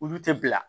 Olu tɛ bila